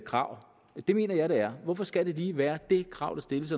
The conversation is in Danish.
krav det mener jeg det er hvorfor skal det lige være det krav der stilles